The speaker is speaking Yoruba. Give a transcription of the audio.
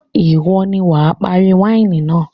Ìwọ ni wà á parí wáìnì náà.